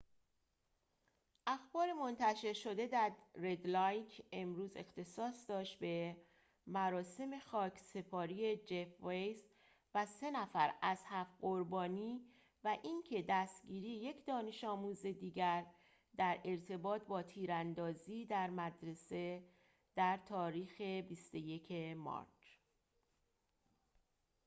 اخبار منتشر شده در رد لایک امروز اختصاص داشت به مراسم خاکسپاری جف ویس و سه نفر از هفت قربانی و اینکه دستگیری یک دانش‌آموز دیگر در ارتباط با تیراندازی در مدرسه در تاریخ ۲۱ مارچ